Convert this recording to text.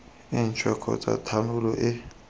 e ntšhwa kgotsa thanolo e